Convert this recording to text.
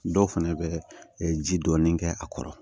Dɔw fana bɛ ji dɔɔnin kɛ a kɔrɔ